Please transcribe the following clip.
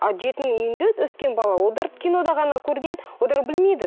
а жетім үйінде өскен бала олар кинода ғана көрген олар білмейді